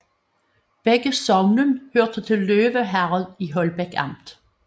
Begge sogne hørte til Løve Herred i Holbæk Amt